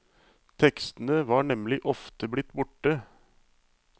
Tekstene var nemlig ofte blitt borte.